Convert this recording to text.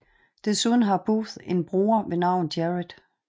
Desuden har Booth en bror ved navn Jared